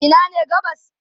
Ina ne gabas?